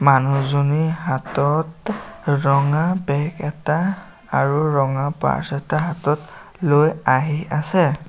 মানুহজনীৰ হাতত ৰঙা বেগ এটা আৰু ৰঙা পাৰ্ছ্ এটা হাতত লৈ আহি আছে।